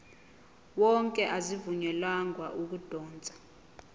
wonke azivunyelwanga ukudotshwa